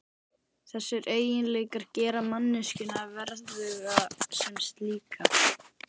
Þessir eiginleikar gera manneskjuna verðuga sem slíka.